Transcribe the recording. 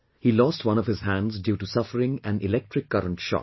He lost one of his hands due to suffering electric current shock